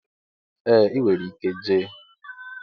Ee inwere ike Jay.